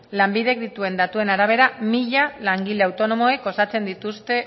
lanbidek dituen datuen arabera mila langile autonomoek osatzen dituzte